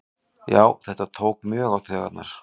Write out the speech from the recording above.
Já þetta tók mjög á taugarnar